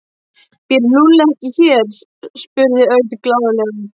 Býr Lúlli ekki hér? spurði Örn glaðlega.